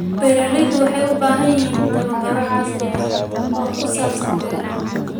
Beeraleydu waxay u baahan yihiin tababaro casri ah oo ku saabsan beeraha.